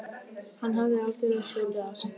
Hann hafði aldeilis hlaupið á sig.